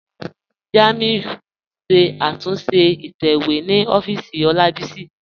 Jàmíù n ṣẹ̀ àtúnṣe ìtẹ̀wẹ̀ ni òfìísì Olábísí.